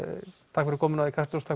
takk fyrir komuna í Kastljós og